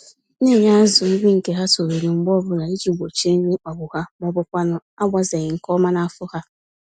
Na-enye azụ nri nke ha toruru mgbè ọbụla iji gbochie nri ịkpagbu ha, mọbụkwanụ̀ agbazeghị nke ọma n'afọ ha.